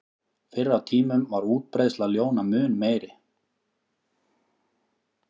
Fyrr á tímum var útbreiðsla ljóna mun meiri.